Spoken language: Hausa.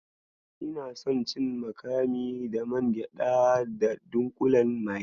Ina son cin makami da man gyaɗa da dunƙulen magi.